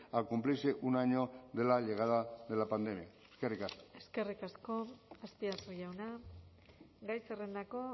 al cumplirse un año de la llegada de la pandemia eskerrik asko eskerrik asko azpiazu jauna gai zerrendako